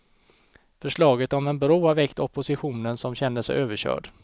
Förslaget om en bro har väckt oppositionen som känner sig överkörd.